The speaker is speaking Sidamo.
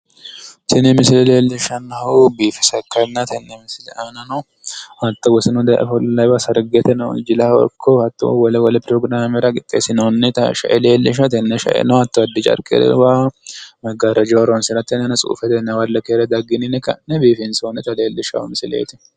Tini misile leellishshannohu biifisa ikkanna tenne misile aanano hatto wosinu daye ofollawowa sargeteno jilaho ikko hatto wole wole pirogiraamera qixxeessinoonnita shae leellishawo. Tenne shaeno hatto addi carqe maggaarrajaho horoonsirate keere daggini yine ka'ne biifinsoonni misileeti.